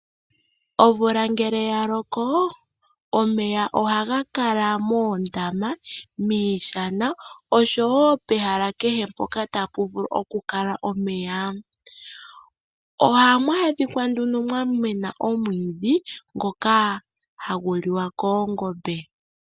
Omvula ngele yaloko omeya ohaga kala moondama, miishana oshowo pehala kehe mpoka tapu vulu oku kala omeya. Ohamu adhika nduno mwamena omwiidhi ngoka hagu liwa koongombe.